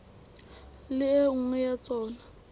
le e nngwe ya tsona